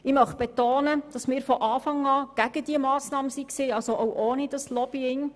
Ich möchte betonen, dass wir von Anfang an gegen diese Massnahme waren, also auch ohne dieses Lobbying.